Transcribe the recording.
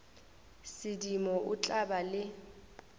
sedimo o tla ba le